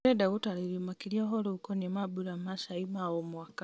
ndĩrenda gũtarĩrio makĩria ũhoro ũkoniĩ mambura ma cai ma o mwaka